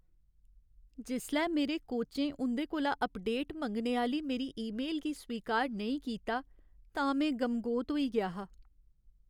जिसलै मेरे कोचें उं'दे कोला अपडेट मंगने आह्‌ली मेरी ईमेल गी स्वीकार नेईं कीता तां में गमगोत होई गेआ हा।